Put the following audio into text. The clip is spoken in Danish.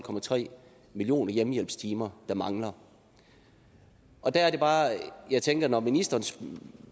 millioner hjemmehjælpstimer der mangler der er det bare jeg tænker at når ministeren